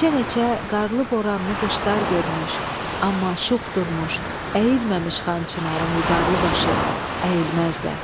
Neçə-neçə qarlı boranlı qışlar görmüş, amma şux durmuş, əyilməmiş Xan Çinarın vüqarlı başı, əyilməz də.